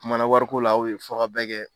O kumana wari ko la a u ye fɔ ka bɛn kɛ.